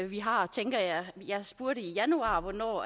vi har tænker jeg jeg spurgte i januar hvornår